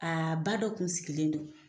ba dɔ kun sigilen don.